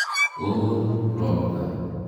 Oo ropta.